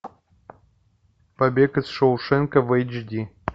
побег из шоушенка в эйч ди